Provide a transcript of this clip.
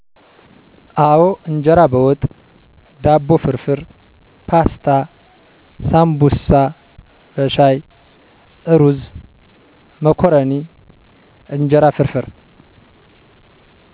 አወ እንጀራ በወጥ፣ ዳቦ ፍርፍር፣ ፓስታ፣ ሳንቡሳ በሻይ፣ እሩዝ፣ መኮረኒ፣ እንጀራ ፍርፍር።